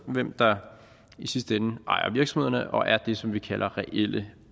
hvem der i sidste ende ejer virksomhederne og er det som vi kalder reelle